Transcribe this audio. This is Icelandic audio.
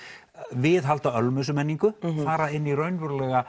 viðhalda ölmusumenningu og fara inn í raunverulega